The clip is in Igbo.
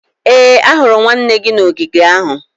ee, ahụrụ m nwanne gị n'ogige ahụ